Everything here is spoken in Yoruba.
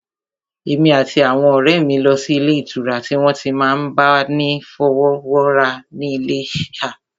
Èmi àti àwọn ọ̀rẹ́ mi lọ sí ilé ìtura tí wọ́n ti n máa bá ni fọwọ́wọ́ra ní Iléṣà